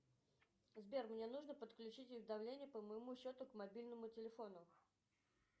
сбер мне нужно подключить уведомления по моему счету к мобильному телефону